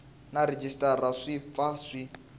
na rhejisitara swi pfa swi